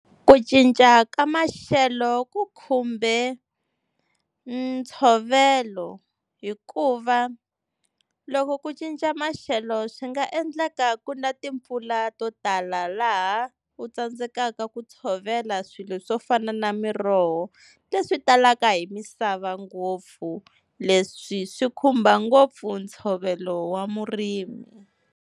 Ku cinca ka maxelo ku khumbe ntshovelo, hikuva loko ku cinca maxelo swi nga endleka ku na timpfula to tala laha u tsandzekaka ku tshovela swilo swo fana na miroho leswi talaka hi misava ngopfu, leswi swi khumba ngopfu ntshovelo wa murimi.